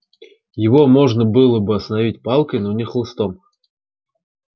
его можно было бы остановить палкой но не хлыстом